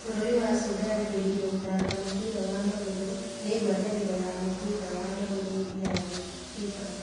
Bũrũri wa Sudan kũgirio gũthaka mũbira wa magũrũ ni ngwatanĩro ya mũbira wa magũrũ ya thĩ (FIFA).